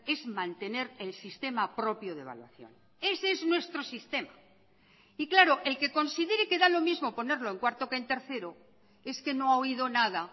es mantener el sistema propio de evaluación ese es nuestro sistema y claro el que considere que da lo mismo ponerlo en cuarto que en tercero es que no ha oído nada